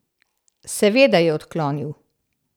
Seveda je odklonil.